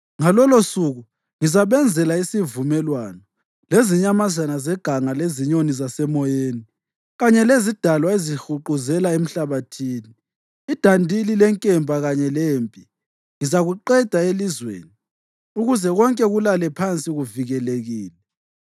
Ngalolosuku ngizabenzela isivumelwano lezinyamazana zeganga lezinyoni zasemoyeni kanye lezidalwa ezihuquzela emhlabathini. Idandili lenkemba kanye lempi ngizakuqeda elizweni ukuze konke kulale phansi kuvikelekile.